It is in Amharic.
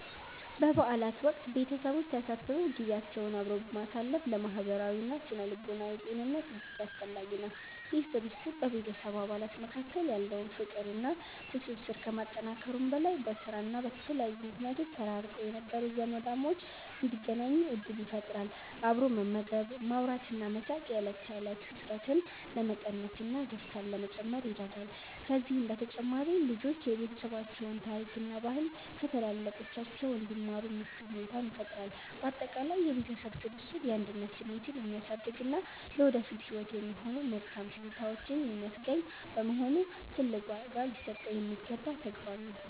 በበዓላት ወቅት ቤተሰቦች ተሰብስበው ጊዜያቸውን አብረው ማሳለፍ ለማህበራዊና ስነ-ልቦናዊ ጤንነት እጅግ አስፈላጊ ነው። ይህ ስብስብ በቤተሰብ አባላት መካከል ያለውን ፍቅርና ትስስር ከማጠናከሩም በላይ፣ በስራና በተለያዩ ምክንያቶች ተራርቀው የነበሩ ዘመዳሞች እንዲገናኙ ዕድል ይፈጥራል። አብሮ መመገብ፣ ማውራትና መሳቅ የዕለት ተዕለት ውጥረትን ለመቀነስና ደስታን ለመጨመር ይረዳል። ከዚህም በተጨማሪ ልጆች የቤተሰባቸውን ታሪክና ባህል ከታላላቆቻቸው እንዲማሩ ምቹ ሁኔታን ይፈጥራል። ባጠቃላይ የቤተሰብ ስብስብ የአንድነት ስሜትን የሚያሳድግና ለወደፊት ህይወት የሚሆኑ መልካም ትዝታዎችን የሚያስገኝ በመሆኑ፣ ትልቅ ዋጋ ሊሰጠው የሚገባ ተግባር ነው።